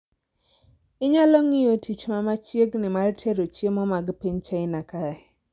inyalo ng’iyo tich ma machiegni mar tero chiemo mag piny China kae